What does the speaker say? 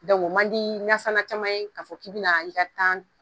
Dɔnku o man di nasana caman ye k'a fɔ k'i bena i ka tan